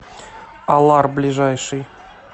алар ближайший